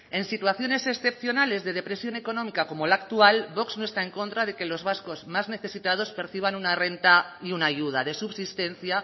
en situaciones excepcionales de depresión económica como la actual vox no está en contra de que los vascos más necesitados perciban una renta y una ayuda de subsistencia